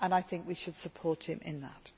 I think we should support him in that.